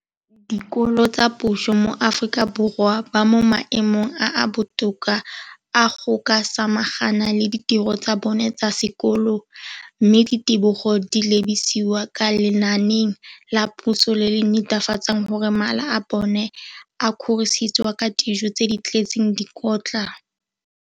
Dikolo tsa puso mo Aforika Borwa ba mo maemong a a botoka a go ka samagana le ditiro tsa bona tsa sekolo, mme ditebogo di lebisiwa kwa lenaaneng la puso le le netefatsang gore mala a bona a kgorisitswe ka dijo tse di tletseng dikotla.